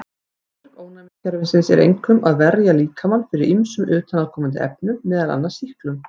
Hlutverk ónæmiskerfisins er einkum að verja líkamann fyrir ýmsum utanaðkomandi efnum, meðal annars sýklum.